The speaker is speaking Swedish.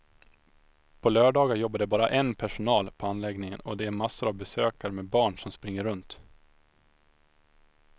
På lördagar jobbar det bara en personal på anläggningen och det är massor av besökare med barn som springer runt.